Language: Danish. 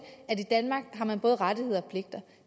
at i danmark har man både rettigheder og pligter